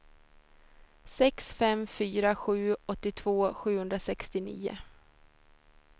sex fem fyra sju åttiotvå sjuhundrasextionio